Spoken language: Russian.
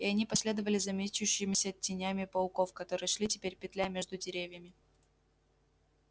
и они последовали за мечущимися тенями пауков которые шли теперь петляя между деревьями